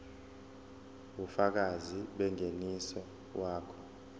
ubufakazi bengeniso wakho